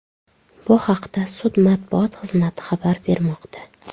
Bu haqda sud matbuot xizmati xabar bermoqda.